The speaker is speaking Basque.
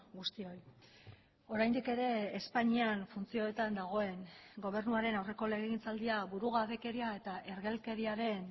guztioi oraindik ere espainian funtzioetan dagoen gobernuaren aurreko legegintzaldia burugabekeria eta ergelkeriaren